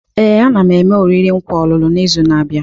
Ee, a na m eme oriri nkwa ọlụlụ n'izu na-abịa.